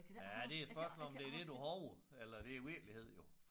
Ja det jo spørgsmålet om det det du hover eller det virkelighed jo